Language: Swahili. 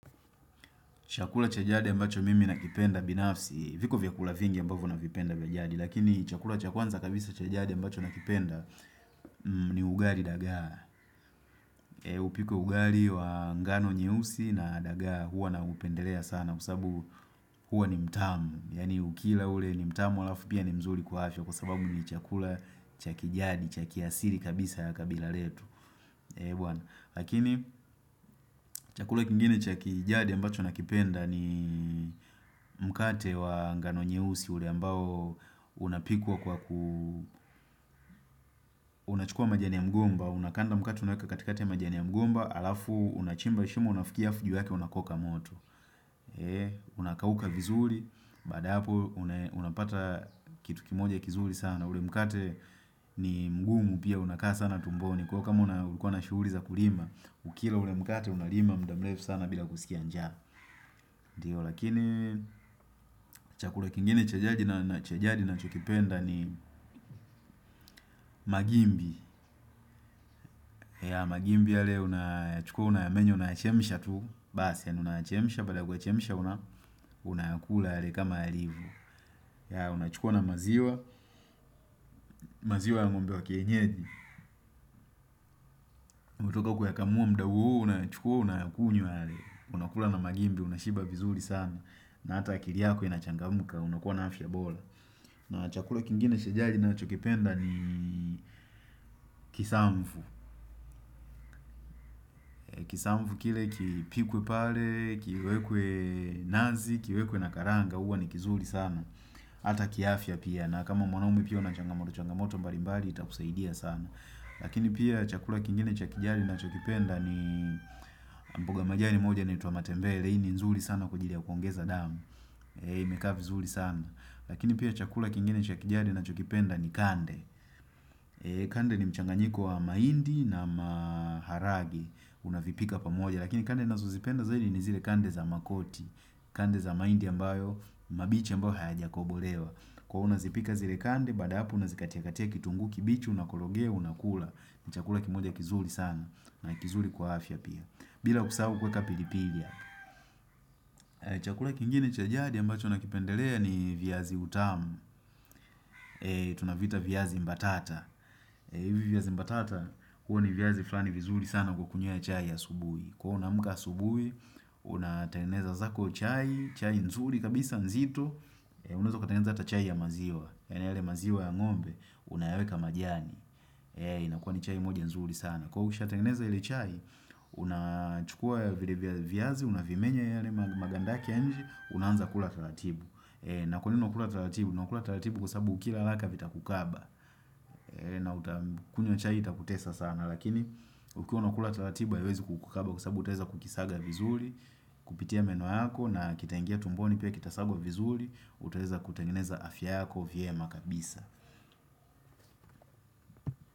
Chakula cha jadi ambacho mimi nakipenda binafsi, viko vyakula vingi ambavyo navipenda vya jadi Lakini chakula cha kwanza kabisa cha jadi mbacho nakipenda ni ugali dagaa, Upike ugali wa ngano nyeusi na dagaa huwa naupedelea sana Kwasababu huwa ni mtamu, yani ukila ule ni mtamu alafu pia ni mzuri kwa afya Kwasababu ni chakula cha kijadi, cha kiasili kabisa kabila letu Lakini, chakula kingine cha kijadi ambacho nakipenda ni mkate wa ngano nyeusi ule ambao unapikwa kwa ku unachukua majani ya mgomba, unakanda mkate unaeka katikati ya majani ya mgomba alafu unachimba shimo unafukia fujo yake unakoka moto Unakauka vizuri baada ya hapo unapata kitu kimoja kizuri sana ule mkate ni mgumu pia unakaa sana tumboni Kwa kama ulikuwa na shughuli za kulima, ukila ule mkate unalima mda mrefu sana bila kusikia njaa ndio lakini chakula kingine cha jadi nachokipenda ni magimbi Magimbi yale unayachukua unayamenyo unayachemsha tu Basi yani unayachemsha baada yakuyachemsha unayakula yale kama yalivo, unachukua na maziwa maziwa ya ng'ombe wa kienyeji umetoka kuyakamua mda huu unayachukua unayakunywa yale Unakula na magimbi unashiba vizuri sana na hata akili yako inachangamka unakuwa na afya bora na chakula kingine cha jadi nachokipenda ni kisamvu Kisamvu kile kipikwe pale, kiwekwe nazi, kiwekwe na karanga huwa ni kizuri sana Ata kiafya pia na kama mwanaume pia unachangamotochangamoto mbalimbari itakusaidia sana, Lakini pia chakula kingine cha kijadi nachokipenda ni mboga majani moja inaitwa matembele hii ni nzuri sana kwa ajili ya kuongeza damu imekaa vizuri sana, Lakini pia chakula kingine cha kijadi nachokipenda ni kande Kande ni mchanganyiko wa mahindi na maharage Unavipika pamoja Lakini kande nazozipenda zaidi ni zile kande za makoti Kande za mahindi ambayo mabichi ambayo hayajakobolewa Kwa hiyo unazipika zile kande Baada ya hapo unazikatiakatia kitunguu kibichi Unakologea unakula ni chakula kimoja kizuri sana na kizuri kwa afya pia bila kusahu kuweka pilipili Chakula kingine cha jadi ambacho nakipendelea ni viazi utamu tunaviita viazi mbatata hivi viazi mbatata huwa ni viazi flani vizuri sana kwa kunywia chai asubuhi kwa unaamka subuhi unatengeneza zako chai chai nzuri kabisa nzito unaezakatengeneza hata chai ya maziwa yani yale maziwa ya ng'ombe unayaweka majani inakuwa ni chai moja nzuri sana kwa hiyo ushatengeneza ile chai unachukua vile viazi unavimenya yale maganda yake ya inje unaanza kula taratibu na kwanini unakula taratibu unakula taratibu kwasababu ukila haraka vitakukaba na utakunywa chai itakutesa sana lakini ukiwa unakula taratiba haiwezi kukukaba kwasababu utaeza kukisaga vizuri kupitia meno yako na kitangia tumboni pia kitasagwa vizuri utaeza kutengeneza afya yako vyema kabisa.